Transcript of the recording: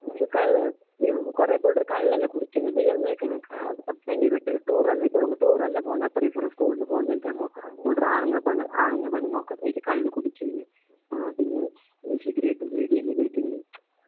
കള്ള് ഈകുറേബുൾറ്കള്ളല്ലേ കുടിക്കുന്നത് എന്നൊക്കഞാൻ കാത് അബേനിവിട്ട് ടൂറെല്ല ഇപ്പ ടൂറെല്ലപോന്ന അപ്പ റിവർ സ്കൂൾന്ന് പോന്നെന്നിക്ക് കാണുമ്പോ കുൽഡ്റാനെന്നപെണ്ണ് ആണുങ്ങ പെണ്ണുങ്ങഒക്കെ കള്ളുകുടിക്കുന്നു. ആ പിന്നേ ഷിബരേട്ടന്റെഇടികല്ലേന്ന് ഒരിക്കണം .